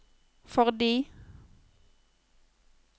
fordi